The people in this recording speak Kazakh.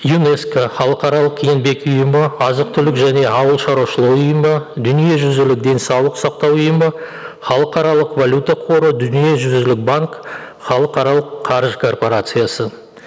юнеско халықаралық еңбек ұйымы азық түлік және ауыл шаруашылық ұйымы дүниежүзілік денсаулық сақтау ұйымы халықаралық валюта қоры дүниежүзілік банк халықаралық қаржы корпорациясы